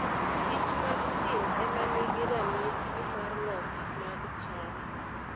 kich mag thim ema nigi ranyisi mar loth mag cham.